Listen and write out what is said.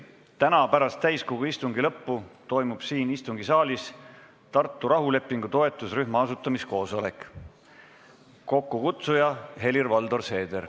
Täna pärast täiskogu istungi lõppu toimub siin istungisaalis Tartu rahulepingu toetusrühma asutamiskoosolek, mille kokkukutsuja on Helir-Valdor Seeder.